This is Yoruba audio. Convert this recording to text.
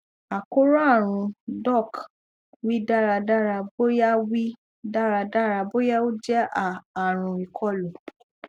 àkóràn arun doc wi daradara boya wi daradara boya o jẹ a àrùn ikolu